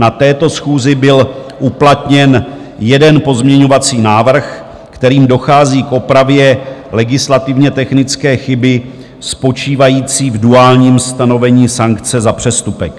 Na této schůzi byl uplatněn jeden pozměňovací návrh, kterým dochází k opravě legislativně technické chyby spočívající v duálním stanovení sankce za přestupek.